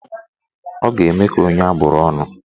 Ọ ga-eme ka onye abụrụ ọnụ?